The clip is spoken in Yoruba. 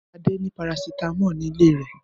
Adé ní parasítámọ̀ ní ilé rẹ̀.